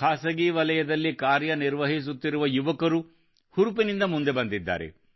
ಖಾಸಗಿ ವಲಯದಲ್ಲಿ ಕಾರ್ಯನಿರ್ವಹಿಸುತ್ತಿರುವ ಯುವಕರು ಹುರುಪಿನಿಂದ ಮುಂದೆ ಬಂದಿದ್ದಾರೆ